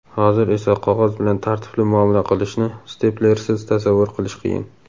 Hozir esa qog‘oz bilan tartibli muomala qilishni steplersiz tasavvur qilish qiyin.